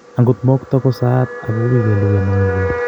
Angot mokto ko saat ak kowui kelugui amami peek